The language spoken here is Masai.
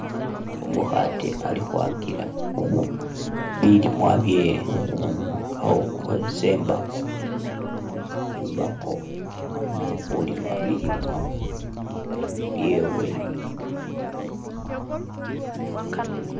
Umukhate ali kwakila bilimwa byewe alikhukhotsesa imbakho imbakho khulima bilimwa byewe